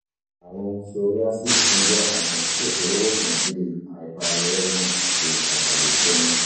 ààrùn psoriasis tún jẹ́ àìsàn tí kò ṣeé wò sàn bíi hyperuremia àti hyperlipidemia